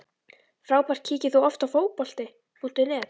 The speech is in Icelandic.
Frábært Kíkir þú oft á Fótbolti.net?